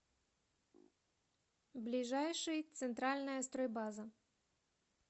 ближайший центральная стройбаза